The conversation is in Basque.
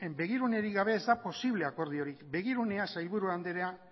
begirunerik gabe ez da posible akordiorik begirunea sailburu andrea